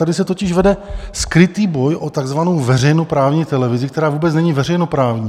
Tady se totiž vede skrytý boj o takzvanou veřejnoprávní televizi, která vůbec není veřejnoprávní.